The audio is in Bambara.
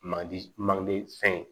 Mandi manden fɛn ye